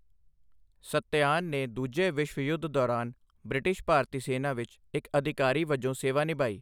ਸੱਤਿਆਨ ਨੇ ਦੂਜੇ ਵਿਸ਼ਵ ਯੁੱਧ ਦੌਰਾਨ ਬ੍ਰਿਟਿਸ਼ ਭਾਰਤੀ ਸੈਨਾ ਵਿੱਚ ਇੱਕ ਅਧਿਕਾਰੀ ਵਜੋਂ ਸੇਵਾ ਨਿਭਾਈ।